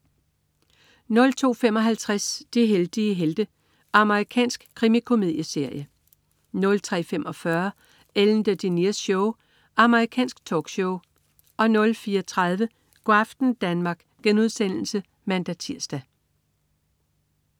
02.55 De heldige helte. Amerikansk krimikomedieserie 03.45 Ellen DeGeneres Show. Amerikansk talkshow 04.30 Go' aften Danmark* (man-tirs)